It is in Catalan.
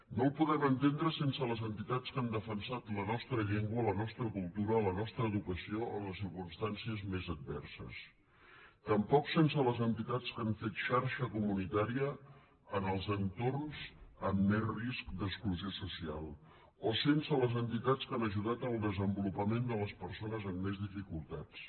no el podem entendre sense les entitats que han defensat la nostra llengua la nostra cultura la nostra educació en les circumstàncies més adverses tampoc sense les entitats que han fet xarxa comunitària en els entorns amb més risc d’exclusió social o sense les entitats que han ajudat al desenvolupament de les persones amb més dificultats